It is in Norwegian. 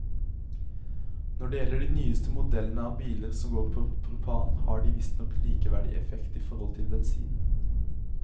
Når det gjelder de nyeste modellene av biler som går på propan, har de visstnok likeverdig effekt i forhold til bensin.